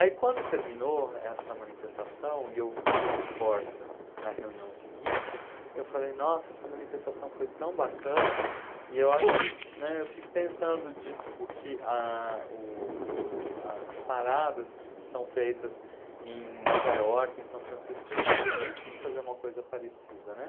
Aí quando terminou essa manifestação, e eu fui para o Corsa na reunião seguinte, eu falei, nossa, essa manifestação foi tão bacana, e eu acho que, né, eu fico pensando de o que ah, o o as paradas que são feitas em Nova Iorque, em São Francisco, a gente também tinha que fazer uma coisa parecida, né?